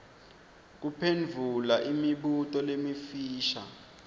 kuphendvula imibuto lemifisha